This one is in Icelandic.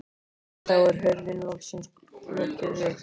En þá er hurðinni loksins lokið upp.